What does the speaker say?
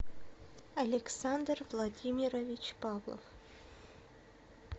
александр владимирович павлов